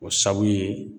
O sababu ye